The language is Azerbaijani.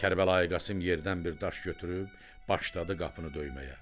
Kərbəlayı Qasım yerdən bir daş götürüb başladı qapını döyməyə.